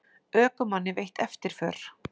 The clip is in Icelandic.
Ökumanni veitt eftirför